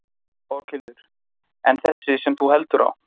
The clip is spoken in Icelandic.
Berghildur: En þessi sem þú heldur á?